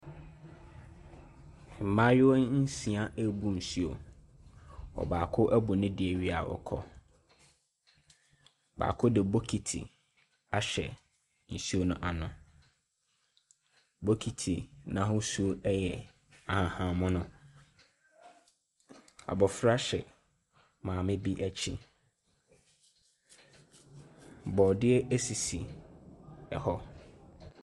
Mmaayewa nsia rebu nsuo. Baako abu ne deɛ awie a ɔkɔ. Baako de bokiti ahyɛ nsuo no ano. Bokiti no ahosuo yɛ ahahammono. Abɔfra hyɛ maame bi akyi. Borɔdeɛ sisi hɔ.